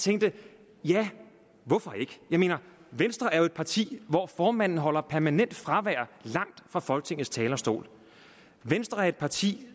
tænkte ja hvorfor ikke jeg mener venstre er jo et parti hvor formanden har permanent fravær langt fra folketingets talerstol venstre er et parti